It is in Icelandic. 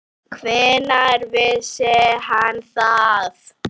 Hvenær vissi hann það?